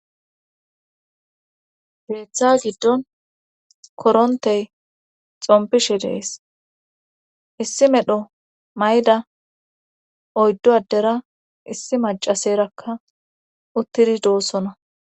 keeththa giddon korontey xompishe dees issi medho mayda oyddu addera issi macaserakka uttidi doossona.